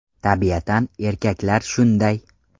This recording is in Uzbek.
Tabiatan erkaklar shunday!